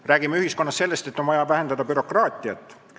Me räägime ühiskonnas sellest, et on vaja vähendada bürokraatiat.